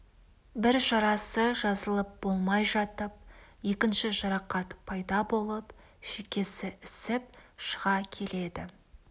бір жарасы жазылып болмай жатып екінші жарақат пайда болып шекесі ісіп шыға келеді